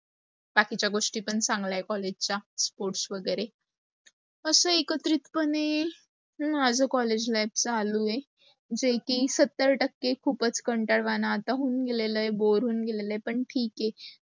बाकीचा गोस्टी पण चांगला आहे collage चा sports वगैरे. अस एकत्रित पणे, माझ collage life चालू आहे. जे की सत्तर टक्के खूपच कंटाळवाण आता होऊन गेलेलं, bore होऊन गेलेलं आहे पण ठीक आहे.